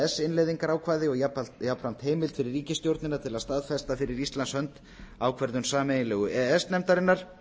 s innleiðingarákvæði og jafnframt heimild fyrir ríkisstjórnina til að staðfesta fyrir íslands hönd ákvörðun sameiginlegu e e s nefndarinnar